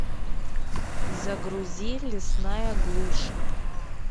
загрузи лесная глушь